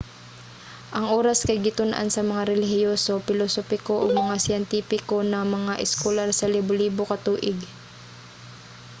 ang oras kay gitun-an sa mga relihiyoso pilosopiko ug mga siyentipiko nga mga eskolar sa libolibo ka tuig